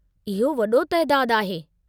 इहो वडो तइदादु आहे!